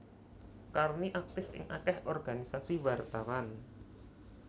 Karni aktif ing akeh organisasi wartawan